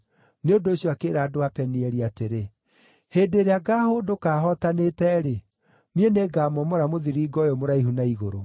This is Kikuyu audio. Nĩ ũndũ ũcio akĩĩra andũ a Penieli atĩrĩ, “Hĩndĩ ĩrĩa ngaahũndũka hootanĩte-rĩ, niĩ nĩngamomora mũthiringo ũyũ mũraihu na igũrũ.”